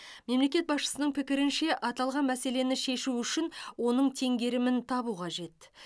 мемлекет басшысының пікірінше аталған мәселені шешу үшін оның теңгерімін табу қажет